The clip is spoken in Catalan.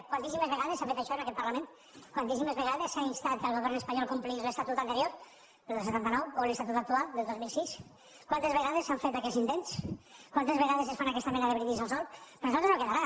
quantíssimes vegades s’ha fet això en aquest parlament quantís·simes vegades s’ha instat el govern espanyol perquè complís l’estatut anterior el del setanta nou o l’estatut actual del dos mil sis quantes vegades s’han fet aquests intents quantes vegades es fan aquesta mena de brindis al sol per nosaltres no quedarà